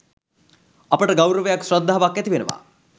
අපට ගෞරවයක් ශ්‍රද්ධාවක් ඇතිවෙනවා